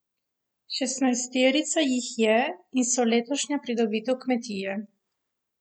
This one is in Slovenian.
Šestnajsterica jih je in so letošnja pridobitev kmetije.